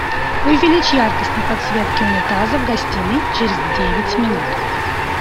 увеличь яркость на подсветке унитаза в гостиной через девять минут